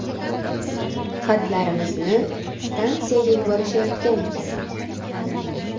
Xatlarimizni stansiyaga yuborishayotgan ekan.